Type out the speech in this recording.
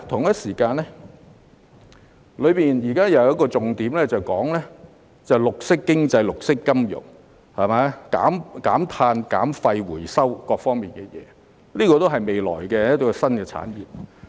預算案中有重點提到綠色經濟、綠色金融、減碳、減廢和回收各方面等事宜，這些都是未來的新產業。